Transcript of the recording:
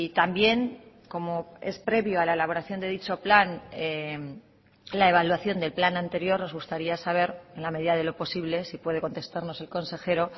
también como es previo a la elaboración de dicho plan la evaluación del plan anterior nos gustaría saber en la medida de lo posible si puede contestarnos el consejero